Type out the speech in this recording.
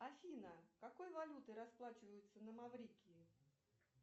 афина какой валютой расплачиваются на маврикии